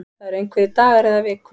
Það eru einhverjir dagar eða vikur